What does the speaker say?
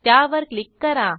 त्यावर क्लिक करा